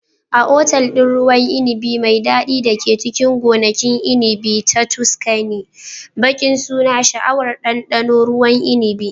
A otal ɗin ruwan inibi mai daɗi da ke cikin gonakin inibi na Tuscany, baƙi suna sha'awar ɗanɗano ruwan inibin.